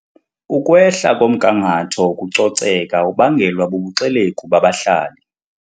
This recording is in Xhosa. Ukwehla komgangatho wokucoceka ubangelwa bubuxelegu babahlali.